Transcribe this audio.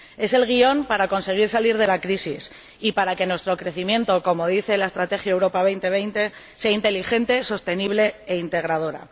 Es el guión para conseguir salir de la crisis y para que nuestro crecimiento, como dice la Estrategia Europa 2020, sea inteligente, sostenible e integrador.